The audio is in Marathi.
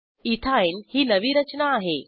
इथिन ही नवी रचना आहे